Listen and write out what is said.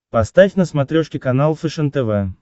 поставь на смотрешке канал фэшен тв